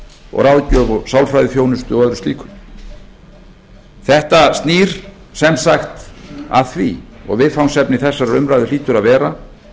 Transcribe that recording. fjölskylduráðgjöf sálfræðiþjónustu og öðru slíku þetta nær sem sagt að því og viðfangsefni þessarar umræðu hlýtur að vera